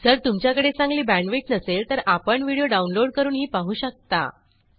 जर तुमच्याकडे चांगली बॅण्डविड्थ नसेल तर आपण व्हिडिओ डाउनलोड करूनही पाहू शकता